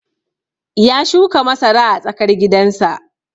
Ya shuka masara a tsakar gidan sa